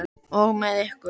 Og með ykkur!